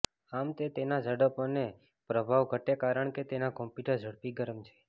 આમ તે તેના ઝડપ અને પ્રભાવ ઘટે કારણ કે તેના કોમ્પ્યુટર ઝડપી ગરમ છે